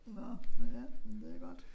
Nå ja men det godt